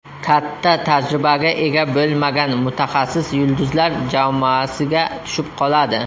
Katta tajribaga ega bo‘lmagan mutaxassis yulduzlar jamoasiga tushib qoladi.